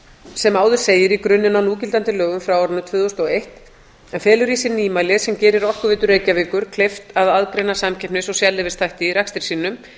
sem áður segir í grunninn á núgildandi lögum frá árinu tvö þúsund og eitt en felur í sér nýmæli sem gerir orkuveitu reykjavíkur kleift að aðgreina samkeppnis og sérleyfisþætti í rekstri sínum